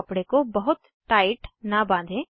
कपडे को बहुत टाइट न बाँधें